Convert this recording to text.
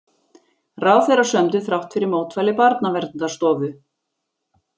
Ráðherrar sömdu þrátt fyrir mótmæli Barnaverndarstofu